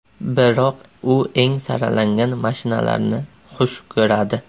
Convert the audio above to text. Biroq u eng saralangan mashinalarni xush ko‘radi.